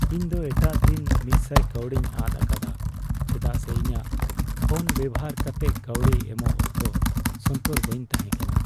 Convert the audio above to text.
ᱤᱧ ᱫᱚ ᱮᱴᱟᱜ ᱫᱤᱱ ᱑᱐᱐ ᱠᱟᱹᱣᱰᱤᱧ ᱟᱫ ᱟᱠᱟᱫᱟ ᱪᱮᱫᱟᱜ ᱥᱮ ᱤᱧᱟᱜ ᱯᱷᱳᱱ ᱵᱮᱵᱚᱦᱟᱨ ᱠᱟᱛᱮᱫ ᱠᱟᱹᱣᱰᱤ ᱮᱢᱚᱜ ᱚᱠᱛᱚ ᱥᱚᱱᱛᱚᱨ ᱵᱟᱹᱧ ᱛᱟᱦᱮᱠᱟᱱᱟ ᱾